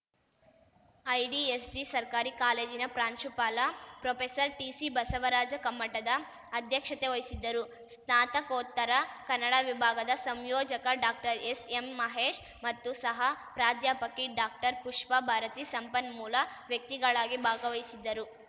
IDSG ಸರ್ಕಾರಿ ಕಾಲೇಜಿನ ಪ್ರಾಂಶುಪಾಲ ಪ್ರೊಪೆಸರ್ಟಿಸಿಬಸವರಾಜ ಕಮ್ಮಟದ ಅಧ್ಯಕ್ಷತೆವಹಿಸಿದ್ದರು ಸ್ನಾತಕೋತ್ತರ ಕನ್ನಡ ವಿಭಾಗದ ಸಂಯೋಜಕ ಡಾಕ್ಟರ್ ಎಸ್ಎಂಮಹೇಶ್‌ ಮತ್ತು ಸಹ ಪ್ರಾಧ್ಯಾಪಕಿ ಡಾಕ್ಟರ್ಪುಷ್ಪಾ ಭಾರತಿ ಸಂಪನ್ಮೂಲ ವ್ಯಕ್ತಿಗಳಾಗಿ ಭಾಗವಹಿಸಿದ್ದರು